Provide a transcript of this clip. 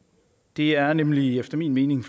det er nemlig efter min mening